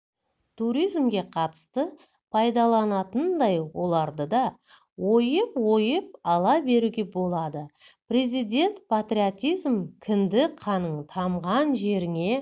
туризмге қатысты пайдаланатындай ойларды да ойып-ойып ала беруге болады президент патриотизм кіндік қаның тамған жеріңе